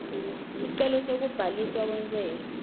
sicelo sekubhaliswa kwentsela